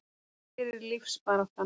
Það gerir lífsbaráttan.